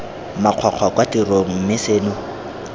makgwakgwa kwa tirong mme seno